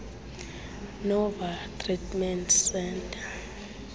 nova treatment centre